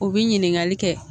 U bɛ ɲininkali kɛ.